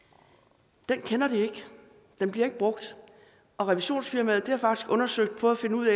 den paragraf kender de ikke den bliver ikke brugt og revisionsfirmaet har faktisk undersøgt det for at finde ud